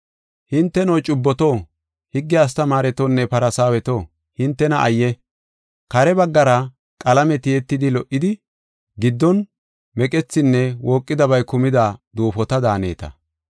“Hinteno, cubboto, higge astamaaretonne Farsaaweto, hintena ayye! Kare baggara qalame tiyetidi lo77idi, giddon meqethinne wooqidabay kumida duufota daaneta.